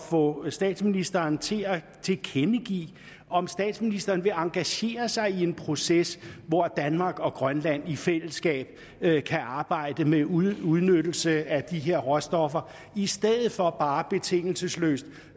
få statsministeren til at tilkendegive om statsministeren vil engagere sig i en proces hvor danmark og grønland i fællesskab kan arbejde med udnyttelse af de her råstoffer i stedet for bare betingelsesløst